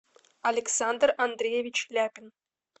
александр андреевич ляпин